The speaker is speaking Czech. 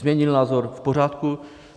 Změnil názor - v pořádku.